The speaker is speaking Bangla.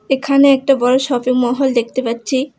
এখানে একটা বড়ো শপিং মহল দেখতে পাচ্ছি।